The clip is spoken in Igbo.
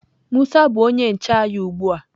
musa bu onye nche anyi ugbua.